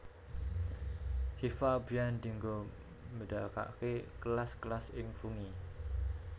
Hifa biyèn dinggo mbédakaké kelas kelas ing fungi